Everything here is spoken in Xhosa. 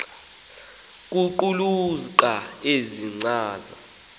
ukuqulunqa ezi nkcaza